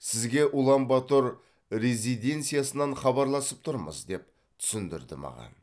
сізге улан батор резиденциясынан хабарласып тұрмыз деп түсіндірді маған